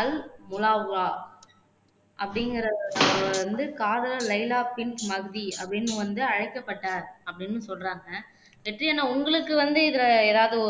அல் அப்படிங்குறவரு வந்து காதலர் லைலா பின் மஜ்தி அப்படின்னு வந்து அழைக்கப்பட்டார் அப்படின்னு சொல்றாங்க வெற்றி அண்ணா உங்களுக்கு வந்து இதுல ஏதாவது